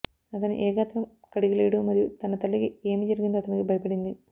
అతను ఏ గాత్రం కలిగి లేడు మరియు తన తల్లికి ఏమి జరిగిందో అతనికి భయపడింది